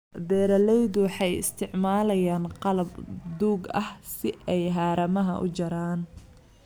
Beeraleydu waxay isticmaalayaan qalab duug ah si ay haramaha u jaraan.